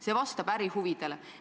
See vastab ärihuvidele.